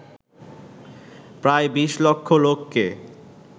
প্রায় বিশ লক্ষ লোককে